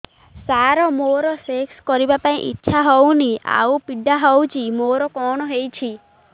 ସାର ମୋର ସେକ୍ସ କରିବା ପାଇଁ ଇଚ୍ଛା ହଉନି ଆଉ ପୀଡା ହଉଚି ମୋର କଣ ହେଇଛି